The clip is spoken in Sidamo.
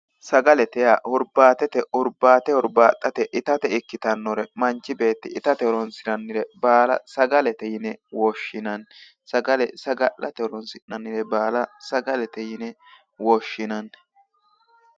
Sagalete yaa huribbate huribbaxate itate ikkittanore manchi beetti itate horonsirannore baalla sagalete yinne woshshinnanni ,saga'late horonsi'nannire baalla sagalete yinne woshshinanni